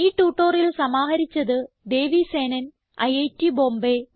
ഈ ട്യൂട്ടോറിയൽ സമാഹരിച്ചത് ദേവി സേനൻ ഐറ്റ് ബോംബേ